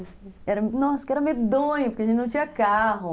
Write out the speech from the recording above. Nossa, que era medonho, porque a gente não tinha carro.